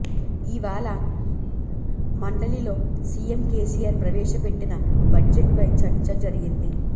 ఇవాళ మండలిలో CM KCR ప్రవేశపెట్టిన బడ్జెట్ పై చర్చ జరిగింది